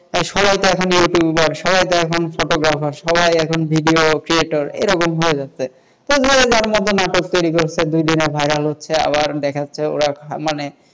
সবাই তো এখন ইউটিউবার, বাই যখন ফটোগ্রাফার, সবাই এখন noise creator এরকম হয়ে গেছেযে যার মতো নাটক তৈরি করছে, দুদিনে ভাইরাল হচ্ছে, আবার দেখা যাচ্ছে ওরা মানে,